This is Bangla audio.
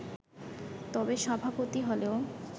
তবে, সভাপতি হলেও